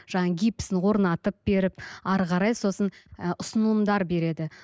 жаңа гипсін орнатып беріп әрі қарай сосын ы ұсынымдар береді